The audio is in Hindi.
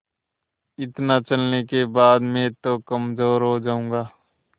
इतना चलने के बाद मैं तो कमज़ोर हो जाऊँगा